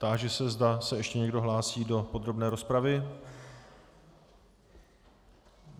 Táži se, zda se ještě někdo hlásí do podrobné rozpravy.